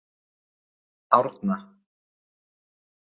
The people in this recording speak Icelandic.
Árna